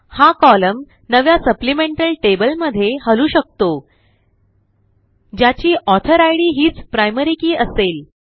हा कोलम्न नव्या supplemental table मध्ये हलवू शकतो ज्याची ऑथर इद हीचprimary के असेल